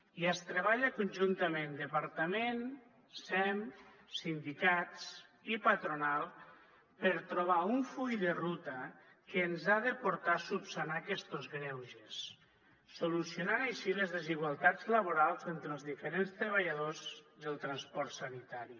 i es treballa conjuntament departament sem sindicats i patronal per trobar un full de ruta que ens ha de portar a esmenar aquestos greuges i solucionar així les desigualtats laborals entre els diferents treballadors del transport sanitari